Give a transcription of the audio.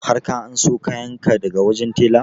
Har ka anso kayan ka daga wajen tela?